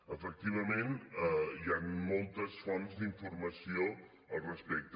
efectivament hi han moltes fonts d’informació al respecte